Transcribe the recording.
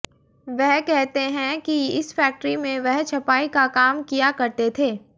वह कहते हैं कि इस फैक्ट्री में वह छपाई का काम किया करते थे